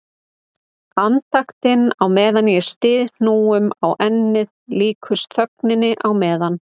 Andaktin á meðan ég styð hnúum á ennið líkust þögninni á meðan